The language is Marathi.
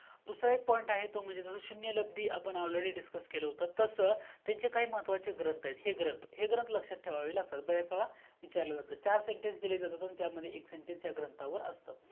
दूसरा एक point आहे तो म्हणजे शून्य लब्दी आपण already discuss केलं होतं तस त्यांचे काही महत्वाचे ग्रंथ आहेत हे ग्रंथ हे ग्रंथ लक्षात ठेवावे लागतात बरेश वेडा विचारले जातात चार SENTENCE दिले जातात आणि त्यामध्ये एक SENTENCE ह्या ग्रंथावर असत